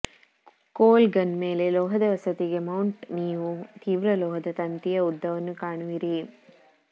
ಕೋಲ್ ಗನ್ ಮೇಲೆ ಲೋಹದ ವಸತಿಗೆ ಮೌಂಟ್ ನೀವು ತೀವ್ರ ಲೋಹದ ತಂತಿಯ ಉದ್ದವನ್ನು ಕಾಣುವಿರಿ